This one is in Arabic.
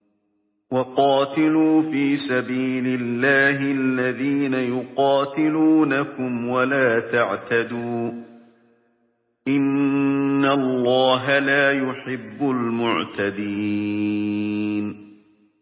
وَقَاتِلُوا فِي سَبِيلِ اللَّهِ الَّذِينَ يُقَاتِلُونَكُمْ وَلَا تَعْتَدُوا ۚ إِنَّ اللَّهَ لَا يُحِبُّ الْمُعْتَدِينَ